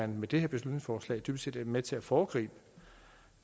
med det her beslutningsforslag dybest set er med til at foregribe